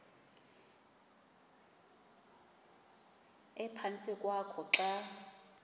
ephantsi kwakho xa